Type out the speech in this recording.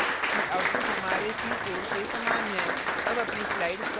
आप देख सकते हैं कि output हमारे c code के समान है